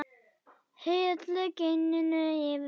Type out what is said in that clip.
Hellið gininu yfir flakið.